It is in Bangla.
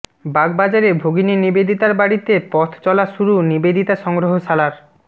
বাগবাজারে ভগিনী নিবেদিতার বাড়িতে পথ চলা শুরু নিবেদিতা সংগ্রহশালার